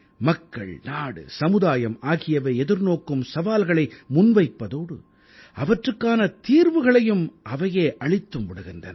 மக்கள் நாடு சமுதாயம் ஆகியவை எதிர்நோக்கும் சவால்களை முன்வைப்பதோடு அவற்றுக்கான தீர்வுகளையும் அவையே அளித்தும் விடுகின்றன